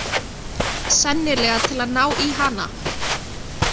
Sennilega til að ná í hana.